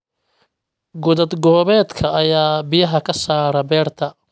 Godad-goobeedka ayaa biyaha ka saara beerta